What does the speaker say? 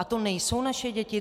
A to nejsou naše děti?